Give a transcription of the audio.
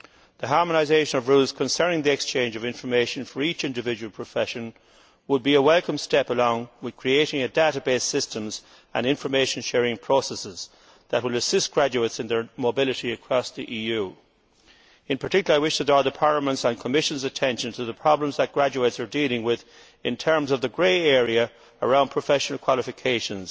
The harmonisation of rules concerning the exchange of information for each individual profession would be a welcome step, along with creating database systems and information sharing processes that will assist graduates in their mobility across the EU. In particular, I wish to draw Parliament's and the Commission's attention to the problems that graduates are dealing with in terms of the grey area around professional qualifications.